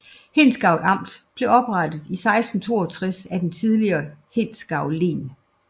Hindsgavl Amt blev oprettet i 1662 af det tidligere Hindsgavl Len